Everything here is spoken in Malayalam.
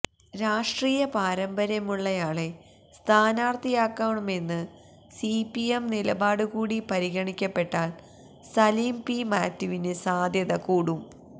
രാഷ്ട്രീയ പാരമ്പര്യമുള്ളയാളെ സ്ഥാനാര്ത്ഥിയാക്കമെന്ന് സിപിഎം നിലപാട് കൂടി പരിഗണിക്കപ്പെട്ടാല് സലീം പി മാത്യുവിന് സാധ്യത കൂടും